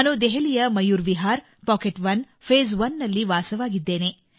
ನಾನು ದೆಹಲಿಯ Mayur Vihar pocket one phase 1 ನಲ್ಲಿ ವಾಸವಾಗಿದ್ದೇನೆ